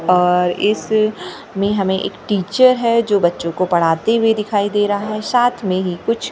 अ इस में हमें एक टीचर है जो बच्चों को पढ़ाते हुए दिखाई दे रहा है साथ में ही कुछ विद्या--